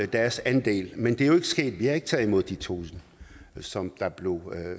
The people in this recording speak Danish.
deres andel men det er jo ikke sket vi har ikke taget imod de tusind som der blev